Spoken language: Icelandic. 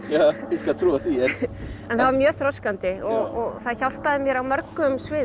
skal trúa því en það var mjög þroskandi og það hjálpaði mér á mörgum sviðum